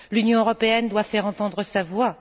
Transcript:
L'Union européenne doit faire entendre sa voix.